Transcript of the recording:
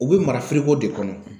O bɛ mara de kɔnɔ